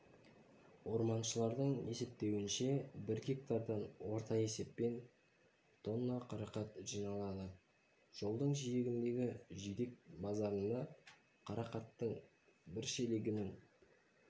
орманшылардың есептеуінше бір гектардан орта есеппен тонна қарақат жиналады жолдың жиегіндегі жидек базарында қарақаттың бір шелегінің